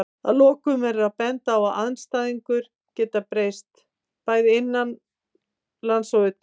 Að lokum verður að benda á að aðstæður geta breyst, bæði innanlands og utan.